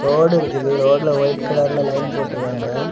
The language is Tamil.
ரோடு இருக்குது. ரோட்ல ஒயிட் கலர்ல லைன் போட்டுருக்காங்க.